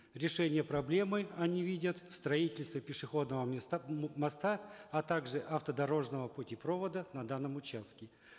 решение проблемы они видят в строительстве пешеходного моста а также автодорожного путепровода на данном участке